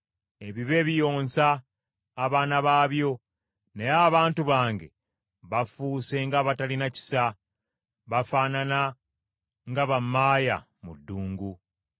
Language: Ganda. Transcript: Ebibe biyonsa abaana baabyo, naye abantu bange bafuuse ng’abatalina kisa, bafaanana nga bammaaya mu ddungu.